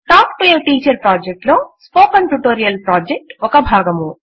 talk to a teacher project లో spoken tutorial project ఒక భాగము